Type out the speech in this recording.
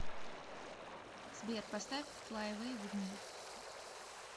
сбер поставь флай эвэй виз ми